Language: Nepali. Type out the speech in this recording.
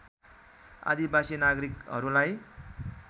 आदिवासी नागरिकहरूलाई